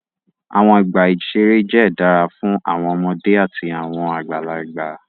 Awọn ọgba iṣere jẹ dara fun awọn ọmọde ati awọn agbalagba